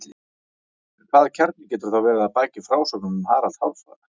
En hvaða kjarni getur þá verið að baki frásögnum um Harald hárfagra?